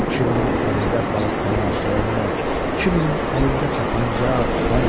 Kiminin əlində balta, dəyənək, kiminin əlində tapança, tüfəng.